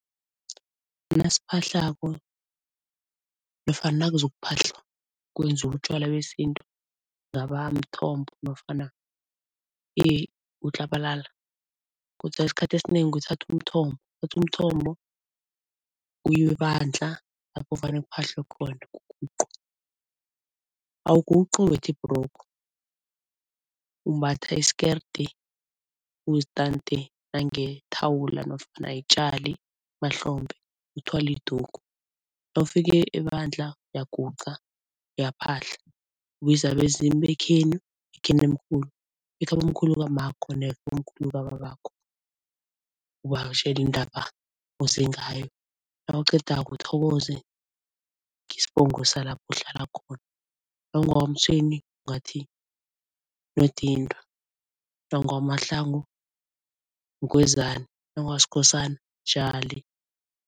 Nasiphahlako nofana nakuzokuphahlwa, kwenziwa utjwala besintu ngaba mthombo nofana utlabalala kodwana esikhathini esinengi kuthathwa umthombo, kuthathwa umthombo kuyiwe ebandla lapho vane kuphahlwe khona awuguqi umbethe ibhrugu, umbatha isikerde uzitante nangethawula nofana yitjali emahlombe, uthwale idugu. Nawufika ebandla uyaguqa, uyaphahla, ubize abezimu bekhenu, bekhenomkhulu, bekhabomkhulu kammakho nebomkhulu kababakho ubatjele indaba oze ngayo. Nawuqedako uthokoze ngesibongo salapho uhlala khona. Nawu ngewakwaMtshweni ungathi Nodindwa, nawu gewakwaMahlangu, Mgwezani, nawu ngewakwaSkhosana, Jali.